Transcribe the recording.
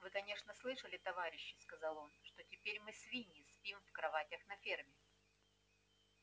вы конечно слышали товарищи сказал он что теперь мы свиньи спим в кроватях на ферме